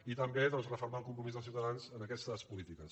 i també doncs refermar el compromís de ciutadans en aquestes polítiques